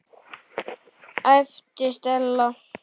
æpti Stella.